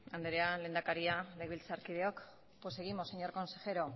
andrea lehendakaria legebiltzarkideok pues seguimos señor consejero